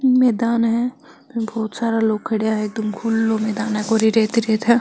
मैदान हे बहोत सारा लोग खड़िया है एकदम खुलो मैदान है कोरी रेत ही रेत है।